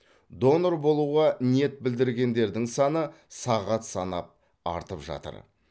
донор болуға ниет білдіргендердің саны сағат санап артып жатыр